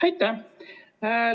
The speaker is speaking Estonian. Aitäh!